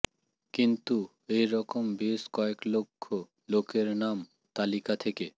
কিন্তু এ রকম বেশ কয়েক লক্ষ লোকের নাম তালিকা থেকে